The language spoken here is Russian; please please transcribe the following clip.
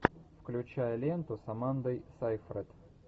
включай ленту с амандой сейфрид